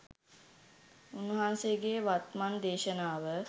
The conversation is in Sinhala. උන්වහන්සේගේ වත්මන් දේශනාව